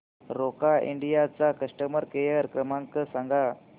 Roca India चा customer care क्रमांक सांगा